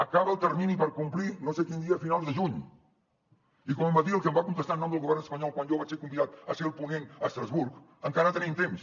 acaba el termini per complir no sé quin dia a finals de juny i com em va dir el que em va contestar en nom del govern espanyol quan jo vaig ser convidat a ser el ponent a estrasburg encara tenim temps